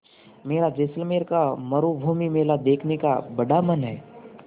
मेरा जैसलमेर का मरूभूमि मेला देखने का बड़ा मन है